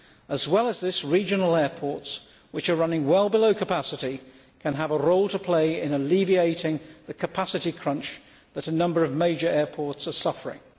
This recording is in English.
As well as this, regional airports, which are running well below capacity, can have a role to play in alleviating the capacity crunch that a number of major airports are suffering.